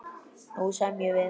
Nú semjum við!